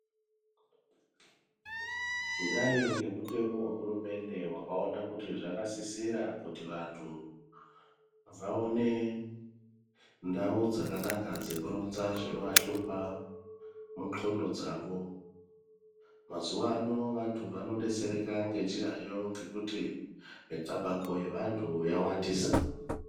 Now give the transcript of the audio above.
Kudai ngemutemo wehurumende wakawona kuti zvakasisira kuti vantu vaone ndawo dzakanaka dzekurondza zvinovahlupha mungxondo dzavo. Mazuvano vantu vanobetsereka ngechirayo ngekuti micabango yevantu yawandisa.